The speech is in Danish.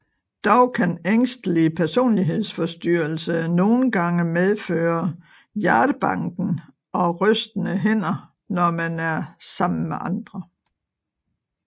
Dog kan ængstelig personlighedsforstyrrelse nogen gange medføre hjertebanken og rystende hænder når man er sammen med andre